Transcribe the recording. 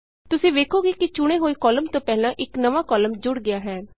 ਤੁਸੀਂ ਵੇਖੋਗੇ ਕਿ ਚੁਣੇ ਹੋਏ ਕਾਲਮ ਤੋਂ ਪਹਿਲਾਂ ਇਕ ਨਵਾਂ ਕਾਲਮ ਜੁੜ ਗਿਆ ਹੈ